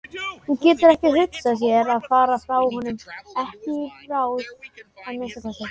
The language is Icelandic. Hún getur ekki hugsað sér að fara frá honum, ekki í bráð að minnsta kosti.